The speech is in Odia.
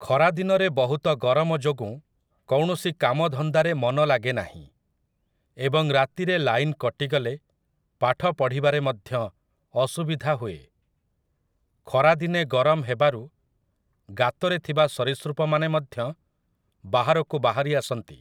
ଖରାଦିନରେ ବହୁତ ଗରମ ଯୋଗୁଁ କୌଣସି କାମଧନ୍ଦାରେ ମନ ଲାଗେ ନାହିଁ, ଏବଂ ରାତିରେ ଲାଇନ୍‌ କଟିଗଲେ ପାଠ ପଢ଼ିବାରେ ମଧ୍ୟ ଅସୁବିଧା ହୁଏ । ଖରା ଦିନେ ଗରମ ହେବାରୁ ଗାତରେ ଥିବା ସରୀସୃପମାନେ ମଧ୍ୟ ବାହାରକୁ ବାହାରି ଆସନ୍ତି ।